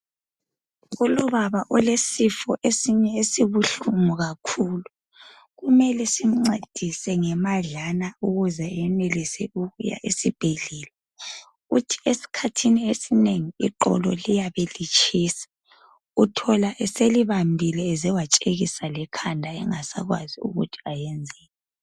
Kulobaba olesifo esinye esibuhlungu kakhulu. Kumele simncedise ngemadlana ukuze enelise ukuya esibhedlela. Uthi esikhathini esinengi iqolo liyabe litshisa. Uthola eselibambile eze watshekisa lekhanda engasakwazi ukuthi ayenzeni.